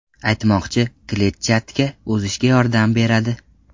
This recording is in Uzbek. Aytmoqchi, kletchatka ozishga yordam beradi.